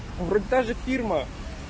вроде таже фирма